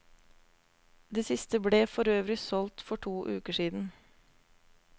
Det siste ble forøvrig solgt for to uker siden.